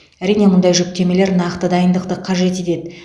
әрине мұндай жүктемелер нақты дайындықты қажет етеді